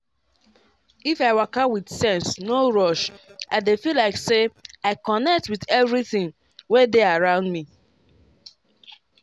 if i waka with sense no rush i dey feel like say i connect with everything wey dey around me.